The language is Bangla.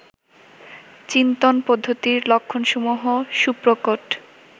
চিন্তন পদ্ধতির লক্ষণসমূহ সুপ্রকট